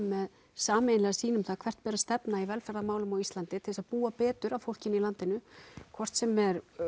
með sameiginlega sýn um það hvert ber að stefna í velferðarmálum á Íslandi til þess að búa betur að fólkinu í landinu hvort sem er